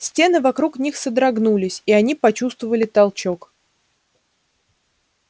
стены вокруг них содрогнулись и они почувствовали толчок